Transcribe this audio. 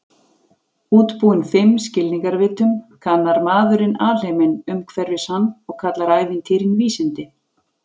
Útbúinn fimm skilningarvitum, kannar maðurinn alheiminn umhverfis hann og kallar ævintýrin vísindi.